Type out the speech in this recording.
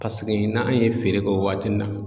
paseke n'an ye feere kɛ o waati in na